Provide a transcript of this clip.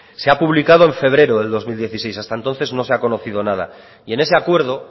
se ha publicado en febrero del dos mil dieciséis hasta entonces no se ha conocido nada y en ese acuerdo